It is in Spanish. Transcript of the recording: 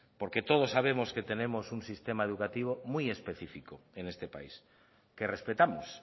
porque todos sabemos que tenemos un sistema educativo muy específico en este país que respetamos